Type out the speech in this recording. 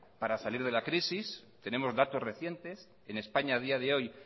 para salir de la crisis tenemos datos recientes en españa a día de hoy